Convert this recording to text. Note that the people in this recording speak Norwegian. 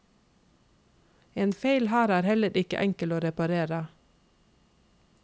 En feil her er heller ikke enkel å reparere.